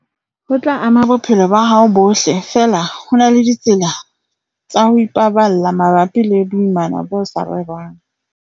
ho tla ama bophelo ba hao bohle, feela ho na le ditsela tsa ho ipaballa mabapi le boimana bo sa rerwang.